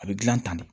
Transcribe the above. A bɛ dilan tan de